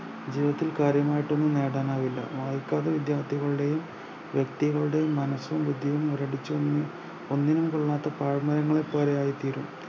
ജീവിതത്തിൽ കാര്യമായിട്ടൊന്നും നേടാനാവില്ല നാൽപ്പത് വിദ്യാർത്ഥികളുടെയും വ്യെക്തികളുടെയും മനസ്സും ബുദ്ധിയും മുരടിച്ച് ഓ ഒന്നിനും കൊള്ളാത്ത പാഴ് മരങ്ങളെപോലെയായിത്തീരും